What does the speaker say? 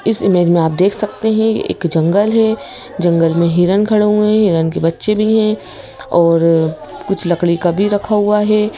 इस इमेज में आप देख सकते हैं एक जंगल है जंगल में हिरन खड़े हुए हिरन के बच्चे भी हैं और कुछ लकड़ी का भी रखा हुआ है।